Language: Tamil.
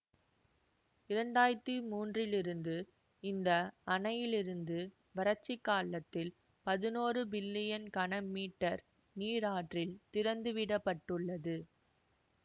இரண்டு ஆயிரத்தி மூன்றிலிருந்து இந்த அணையிலிருந்து வறட்சி காலத்தில் பதினொறு பில்லியன் கன மீட்டர் நீர் ஆற்றில் திறந்துவிடப்பட்டுள்ளது